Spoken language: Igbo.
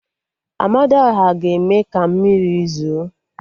Amadiọha ga-eme ka mmiri zo